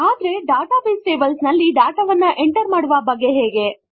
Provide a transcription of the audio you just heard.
ಆದರೆ database tables ನಲ್ಲಿ data ವನ್ನು ಎಂಟರ್ ಮಾಡುವ ಬಗೆ ಹೇಗೆ